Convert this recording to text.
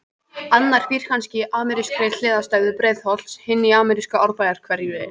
Annar býr kannski í amerískri hliðstæðu Breiðholts, hinn í amerísku Árbæjarhverfi.